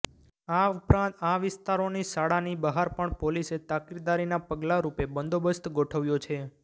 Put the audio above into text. આ ઉપરાંત આ વિસ્તારોની શાળાની બહાર પણ પોલીસે તાકીદારીના પગલાં રૂપે બંદોબસ્ત ગોઠવ્યો છે